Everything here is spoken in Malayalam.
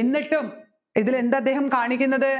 എന്നിട്ടും ഇതിൽ എന്ത് അദ്ദേഹം കാണിക്കുന്നത്